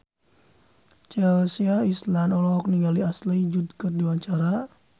Chelsea Islan olohok ningali Ashley Judd keur diwawancara